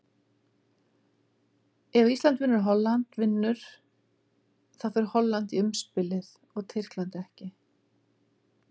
Ef Ísland vinnur og Holland vinnur, þá fer Holland í umspilið og Tyrkland ekki.